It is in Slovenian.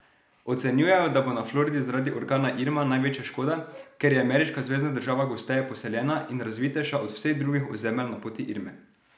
Ocenjujejo, da bo na Floridi zaradi orkana Irma največja škoda, ker je ameriška zvezna država gosteje poseljena in razvitejša od vseh drugih ozemelj na poti Irme.